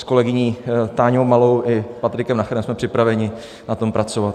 S kolegyní Táňou Malou i Patrickem Nacherem jsme připraveni na tom pracovat.